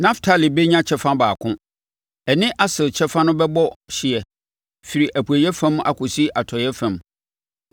Naftali bɛnya kyɛfa baako; ɛne Aser kyɛfa no bɛbɔ hyeɛ firi apueeɛ fam akɔsi atɔeɛ fam.